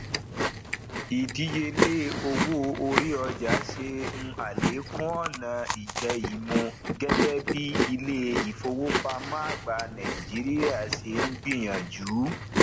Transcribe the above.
ìdíyelé owó orí ọjà ṣe n alekun ọna ijẹimu gẹgẹ bí ilé ìfowópamọ àgbà nàìjíríà ṣe n gbìyànjú